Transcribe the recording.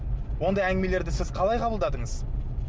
ондай әңгімелерді сіз қалай қабылдадыңыз